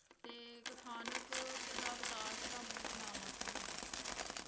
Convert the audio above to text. ਤੇ ਕਥਾਨਕ ਦਾ ਵਿਕਾਸ ਵੀ ਮਤਲਬ ਨਾ ਮਾਤਰ ਹੀ ਏ